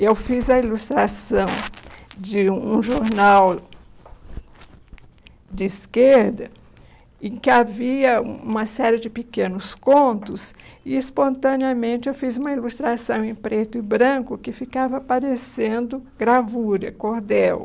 Eu fiz a ilustração de um jornal de esquerda em que havia um uma série de pequenos contos e, espontaneamente, eu fiz uma ilustração em preto e branco que ficava parecendo gravura, cordel.